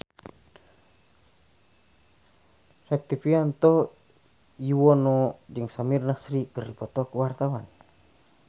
Rektivianto Yoewono jeung Samir Nasri keur dipoto ku wartawan